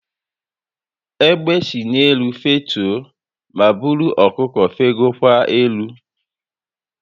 Egbe si n'elu fetue ma buru ọkụkọ fegokwa elu